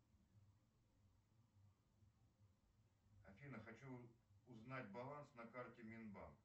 афина хочу узнать баланс на карте минбанк